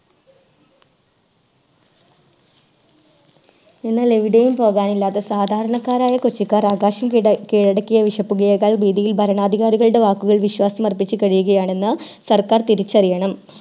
നിങ്ങളെവിടെയും പോകാനില്ലാതെ സാധാരണക്കാരായ കൊച്ചിക്കാർ ആകാശം കിട കീഴടക്കിയ വിശപ്പുകയെക്കാൾ ഭീതിയിൽ ഭരണാധികാരുടെ വാക്കുകൾ വിശ്വാസമർപ്പിച്ച് കഴിയുകയാണെന്ന് സർക്കാർ തിരിച്ചറിയണം